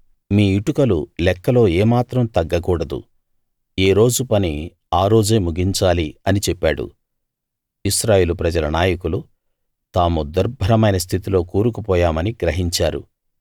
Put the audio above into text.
మీ ఇటుకలు లెక్కలో ఏమాత్రం తగ్గకూడదు ఏ రోజు పని ఆ రోజే ముగించాలి అని చెప్పాడు ఇశ్రాయేలు ప్రజల నాయకులు తాము దుర్భరమైన స్థితిలో కూరుకు పోయామని గ్రహించారు